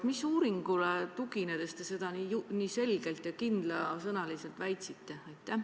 Mis uuringule tuginedes te seda nii selgelt ja kindlasõnaliselt väitsite?